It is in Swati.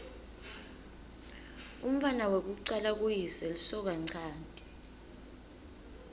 umntfwana wekucala kuyise lisokanchanti